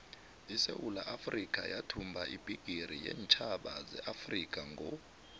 isewula afrikha yathumba ibhigiri yeentjhaba zeafrikha ngo